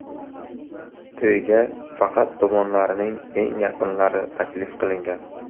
To‘yga faqat tomonlarning eng yaqinlari taklif qilingan.